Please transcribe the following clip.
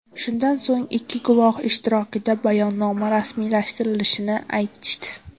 Shundan so‘ng ikki guvoh ishtirokida bayonnoma rasmiylashtirilishini aytishdi.